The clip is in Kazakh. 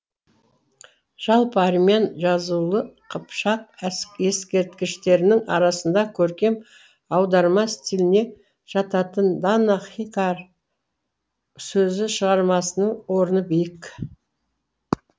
жалпы армян жазулы қыпшақ ескерткіштерінің арасында көркем аударма стиліне жататын дана хикар сөзі шығармасының орны биік